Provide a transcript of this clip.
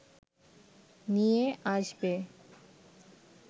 নিয়ে আসবে